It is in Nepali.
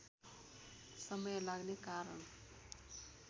समय लाग्ने कारण